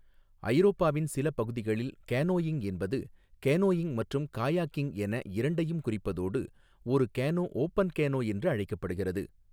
ஐரோப்பாவின் சில பகுதிகளில் கேனோயிங் என்பது கேனோயிங் மற்றும் காயாகிங் என இரண்டையும் குறிப்பதோடு, ஒரு கேனோ ஓபன் கேனோ என்று அழைக்கப்படுகிறது.